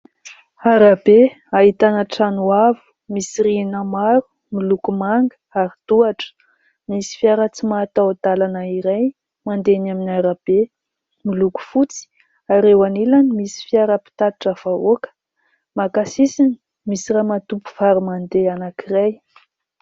Arabe ahitana trano avo misy rihana maro, miloko manga ary tohatra. Misy fiara tsy mataho- dalana iray mandeha eny amin'ny arabe, miloko fotsy ary eo anilany misy fiara mpitatitra vahoaka maka sisiny. Misy ramatoa mpivaro- mandeha anankiray.